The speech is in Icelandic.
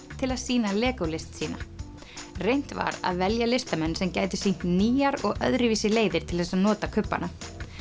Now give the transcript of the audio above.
til að sýna legó list sína reynt var að velja listamenn sem gætu sýnt nýjar og öðruvísi leiðir til þess að nota kubbana